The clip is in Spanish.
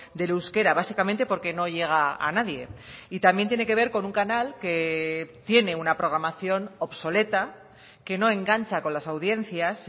del euskera básicamente porque no llega a nadie y también tiene que ver con un canal que tiene una programación obsoleta que no engancha con las audiencias